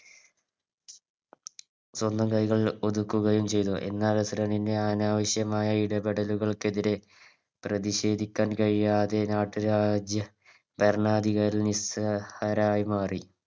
സ്വന്തം കൈകൾ ഒതുക്കുകയും ചെയ്തു എന്നാൽ അനാവശ്യമായ ഇടപെടലുകൾക്കെതിരെ പ്രതിഷേധിക്കാൻ കഴിയാതെ നാട്ടുരാജ്യ ഭരണാധികാരി നിസ്സഹരായി മാറി